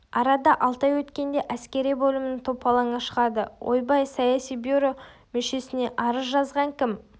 арада алты ай өткенде әскери бөлімнің топалаңы шығады ойбай саяси бюро мүшесіне арыз жазған кім